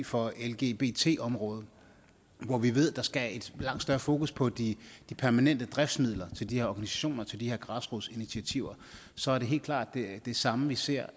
for lgbt området hvor vi ved at der skal et langt større fokus på de permanente driftsmidler til de her organisationer til de her græsrodsinitiativer så er det helt klart det samme vi ser